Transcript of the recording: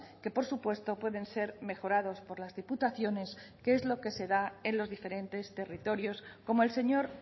que por supuesto pueden ser mejorados por las diputaciones que es lo que se da en los diferentes territorios como el señor